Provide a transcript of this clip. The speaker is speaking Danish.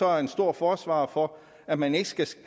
er en stor forsvarer for at man ikke skal